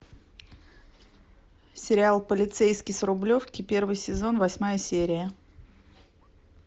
сериал полицейский с рублевки первый сезон восьмая серия